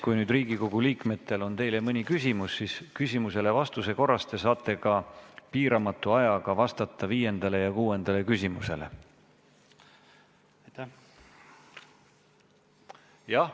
Kui nüüd Riigikogu liikmetel on teile mõni küsimus, siis küsimusele vastates saate piiramatu ajaga vastata ka viiendale küsimusele.